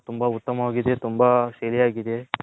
ತುಂಬಾ ಉತ್ತಮವಾಗಿದೆ ತುಂಬಾ ಸರಿಯಾಗಿದೆ.